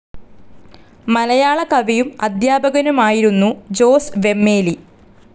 മലയാള കവിയും അധ്യാപകനുമായിരുന്നു ജോസ് വെമ്മേലി.